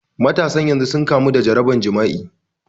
Matasan yanzu sun kamo da jaraban jima'i